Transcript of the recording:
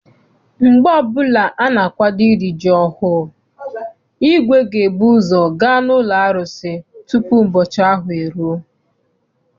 Mgbe ọbụla ana-akwado iri ji ọhụụ, igwe ga ebuzo gaa n'ụlọ arụsị tupu ụbọchị ahụ eruo.